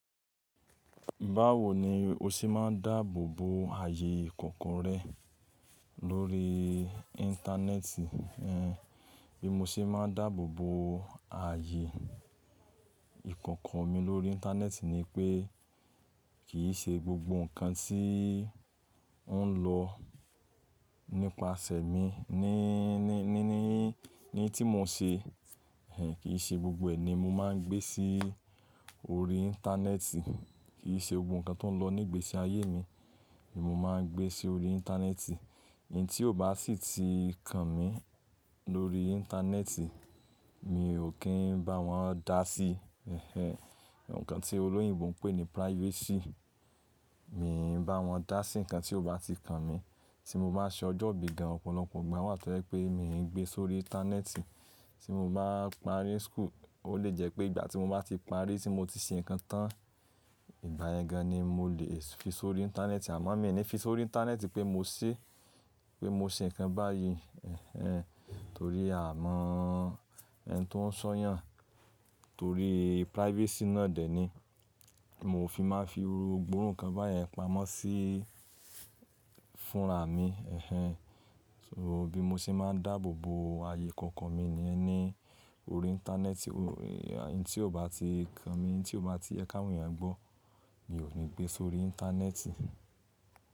Báwo ni o ṣe máa ń dáàbò bo ààyè ìkòkò rẹ lórí íńtánẹ́ẹ̀tì? Bí mo ṣe máa ń dáàbò bo ààyè ìkòkò mi lórí íńtánẹ́ẹ̀tì ni pé kì í ṣe gbogbo ǹkan tí ń lọ nípasẹ̀ mi ní, ní, ní, ní, ní tí mo ṣe, ẹhn, kì í ṣe gbogbo ẹ̀ ni mo máa ń gbé sí orí íńtánẹ́ẹ̀tì. Kì í ṣe gbogbo ǹ kan tó ń lọ ní ìgbésí ayé mi ni mo máa ń gbé sí orí íńtánẹ́ẹ̀tì. Ẹni tí ó bá sì ti kan mi lórí íńtánẹ́ẹ̀tì mi ò kí ń bá wọn dá sí, ẹhen. Ǹkan tí olóyìnbo ń pè ní privacy, mi ò ní bá wọn dá sí ǹkan tí ó bá ti kan mi. Ti mo bá ṣe ọjọ́ ìbí gan, ọ̀pọ̀lọpọ̀ ìgbà wà tó jẹ́ pé mi ò ní gbé sórí íńtánẹ́ẹ̀tì. Tí mo bá parí school, ó lè jẹ́ pé ìgbà tí mo bá ti parí tí mo ti ṣe ǹkan tán, ìgbà yẹn gan ni mo lè fi sórí íńtánẹ́ẹ̀tì àmọ́ mi ò ní fi sórí íńtánẹ́ẹ̀tì pé mo ṣé, pé mo ṣe ǹkan báyìí, ẹhen, torí a maa ẹni tó ń ṣọ́yàn torí privacy náà dè ní. Mo ò fi máa fi irú gbogbo irú ǹ kan báyẹn pamọ́ sí fúnra mi, ẹhen. So, bí mo ṣe máa ń dáàbò bo ààyè ìkòkò mi ni yẹn ni orí íńtánẹ́ẹ̀tì, tí ò bá ti kan mi, tí ò bá ti yẹ kí àwọn èèyàn gbọ́ mi ò ní gbé sórí íńtánẹ́ẹ̀tì.